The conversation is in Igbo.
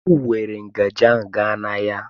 M weere ngaji ahụ gaa n'ahịa.